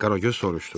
Qaragöz soruşdu.